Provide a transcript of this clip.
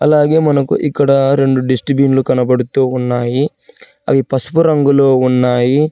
అలాగే మనకు ఇక్కడ రెండు డిస్ట్రిబ్యూన్లు కనబడుతూ ఉన్నాయి అవి పసుపు రంగులో ఉన్నాయి.